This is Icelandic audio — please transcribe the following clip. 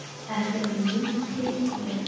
Er þetta eitthvað nýtilkomið?